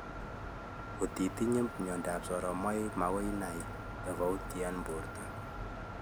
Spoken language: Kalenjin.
Koti itinyee myandap soromaik magoi inai tofauti eng borta